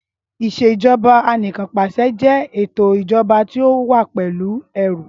ìṣèjọba Anìkanpàṣẹ jẹ eto ijọba ti o wa pẹlu ẹru.